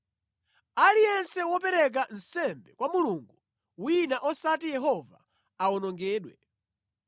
“Aliyense wopereka nsembe kwa mulungu wina osati Yehova awonongedwe.